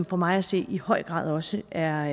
for mig at se i høj grad også er